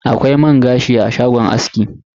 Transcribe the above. Akwai man gashi a shagon aski.